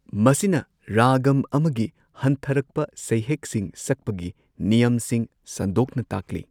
ꯃꯁꯤꯅ ꯔꯥꯒꯝ ꯑꯃꯒꯤ ꯍꯟꯊꯔꯛꯄ ꯁꯩꯍꯦꯛꯁꯤꯡ ꯁꯛꯄꯒꯤ ꯅꯤꯌꯝꯁꯤꯡ ꯁꯟꯗꯣꯛꯅ ꯇꯥꯛꯂꯤ꯫